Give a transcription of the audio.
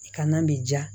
I kana m ja